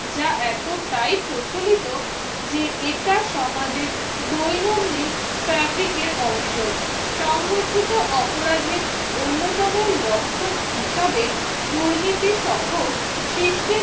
যা এতটাই প্রচলিত যে এটা সমাজের দৈনন্দিন fabric এর অংশ সংগঠিত অপরাধের অন্যতম লক্ষণ হিসেবে দুর্নীতি সহ system